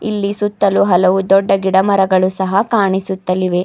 ಇಲ್ಲಿ ಸುತ್ತಲು ಹಲವು ದೊಡ್ಡ ಗಿಡಮರಗಳು ಸಹ ಕಾಣಿಸುತ್ತಲಿವೆ.